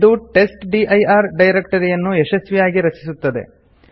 ಇದು ಟೆಸ್ಟ್ಡಿರ್ ಡೈರೆಕ್ಟರಿಯನ್ನು ಯಶಸ್ವಿಯಾಗಿ ರಚಿಸುತ್ತದೆ